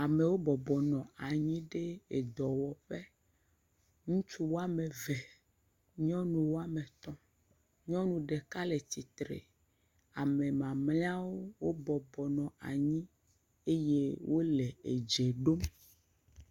Amewo bɔbɔ nɔ anyi ɖe edɔwɔƒe, ŋutsu woame ve, nyɔnu woame etɔ̃, nyɔnu ɖeka le tsitre, ame mamlɛawo wobɔbɔ nɔ anyi eye wole edze ɖom,